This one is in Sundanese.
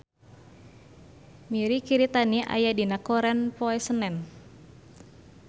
Mirei Kiritani aya dina koran poe Senen